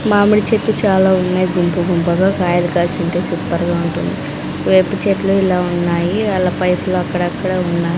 మామిడి చెట్టు చాలా ఉన్నాయి గుంపు గుంపుగా కాయలు కాసి ఉంటే సూపర్ గా ఉంటుంది వేప చెట్లు ఇలా ఉన్నాయి వాళ్ల పైపులు అక్కడక్కడ ఉన్నాయి.